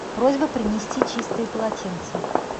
просьба принести чистые полотенца